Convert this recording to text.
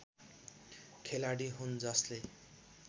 खेलाडी हुन् जसले